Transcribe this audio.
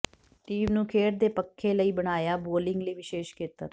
team ਨੂੰ ਖੇਡ ਦੇ ਪੱਖੇ ਲਈ ਬਣਾਇਆ ਬੌਲਿੰਗ ਲਈ ਵਿਸ਼ੇਸ਼ ਖੇਤਰ